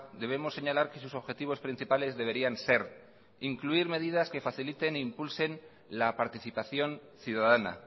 debemos señalar que sus objetivos principales deberían ser incluir medidas que faciliten e impulsen la participación ciudadana